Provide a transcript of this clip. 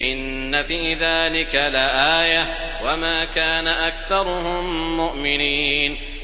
إِنَّ فِي ذَٰلِكَ لَآيَةً ۖ وَمَا كَانَ أَكْثَرُهُم مُّؤْمِنِينَ